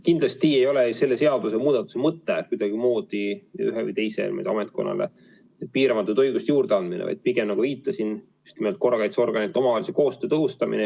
Kindlasti ei ole selle seadusemuudatuse mõte kuidagimoodi ühele või teisele ametkonnale piiramatute õiguste juurdeandmine, vaid pigem, nagu viitasin, korrakaitseorganite omavahelise koostöö tõhustamine.